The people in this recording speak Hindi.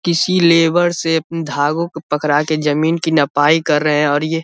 किसी लेबर से उम्म धागों को पकड़ा के जमीन की नपाई कर रहे हैं और ये --